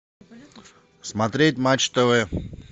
смотреть матч тв